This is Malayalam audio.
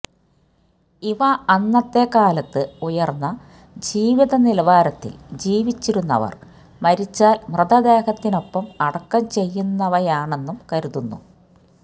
ഇവ അന്നത്തെ കാലത്ത് ഉയര്ന്ന ജീവിത നിലവാരത്തില് ജീവിച്ചിരുന്നവര് മരിച്ചാല് മൃതദേഹത്തിനോടൊപ്പം അടക്കം ചെയ്യുന്നവയാണെന്നും കരുതുന്നു